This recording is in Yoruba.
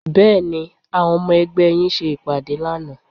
Bẹ́ẹ̀ni, àwọn ọmọ ẹgbẹ́ yín ṣe ìpàdé lánàá